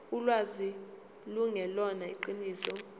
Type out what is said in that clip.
ulwazi lungelona iqiniso